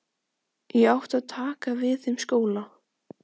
Ég átti að taka við þeim skóla.